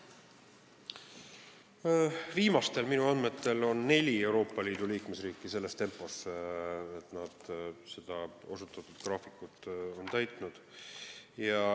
Minu viimastel andmetel on neli Euroopa Liidu liikmesriiki liikunud sellises tempos, et nad on seda osutatud graafikut täitnud.